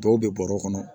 Dɔw bɛ bɔrɔ kɔnɔ